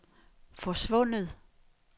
forsvundet